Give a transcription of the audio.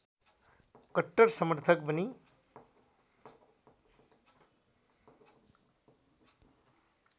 कट्टर समर्थक बनी